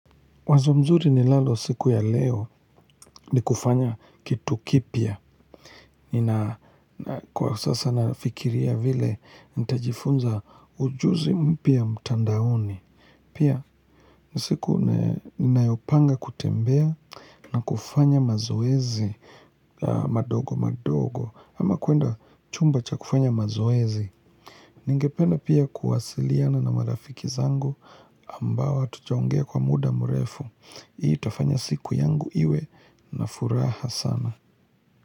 Wazo mzuri ninalo siku ya leo ni kufanya kitu kipya. Kwa sasa nafikiria vile nitajifunza ujuzi mpya mtandaoni. Pia ni siku ninayopanga kutembea na kufanya mazoezi madogo madogo. Ama kuenda chumba cha kufanya mazoezi. Ningependa pia kuwasiliana na marafiki zangu ambao hatujaongea kwa muda mrefu. Hii itafanya siku yangu iwe na furaha sana.